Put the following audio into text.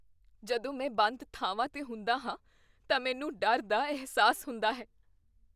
ਜਦੋਂ ਮੈਂ ਬੰਦ ਥਾਵਾਂ 'ਤੇ ਹੁੰਦਾ ਹਾਂ ਤਾਂ ਮੈਨੂੰ ਡਰ ਦਾ ਅਹਿਸਾਸ ਹੁੰਦਾ ਹੈ।